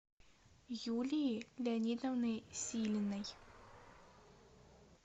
юлии леонидовны силиной